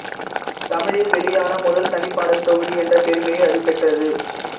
தமிழில் வெளியான முதல் தனிப்பாடல் தொகுதி என்ற பெருமையை அது பெற்றது